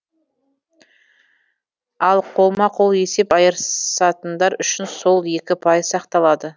ал қолма қол есеп айырысатындар үшін сол екі пайыз сақталады